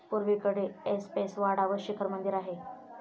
पुर्वेकडे ऐसपैस वाडा व शिखर मंदिर आहे.